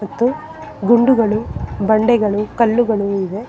ಮತ್ತು ಗುಂಡುಗಳು ಬಂಡೆಗಳು ಕಲ್ಲುಗಳು ಇವೆ.